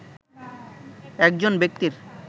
একজন ব্যক্তির